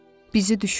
Bizi düşünmə.